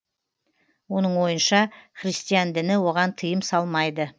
оның ойынша христиан діні оған тыйым салмайды